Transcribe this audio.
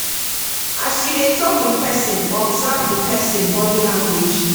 As you dey talk with person, observe di person body language